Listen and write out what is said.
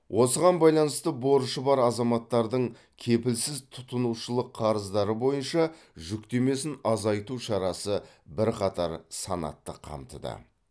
осыған байланысты борышы бар азаматтардың кепілсіз тұтынушылық қарыздары бойынша жүктемесін азайту шарасы бірқатар санатты қамтыды